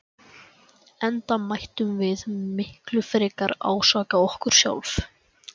Enda mættum við miklu frekar ásaka okkur sjálf.